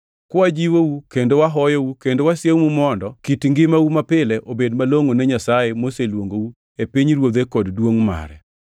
kwajiwou kendo wahoyou kendo wasiemou mondo kit ngimau mapile obed malongʼo ne Nyasaye moseluongou e pinyruodhe kod duongʼ mare.